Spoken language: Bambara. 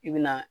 I bi na